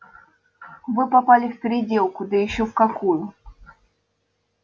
вы попали в переделку да ещё в какую